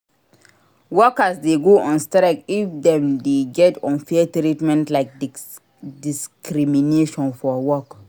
Workers de go on strike if dem de get unfair treatment like discrimnation for work